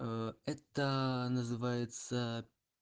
аа это называется